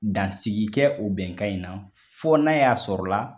Dansigi kɛ o bɛnkan in na, fo n'a y'a sɔrɔ la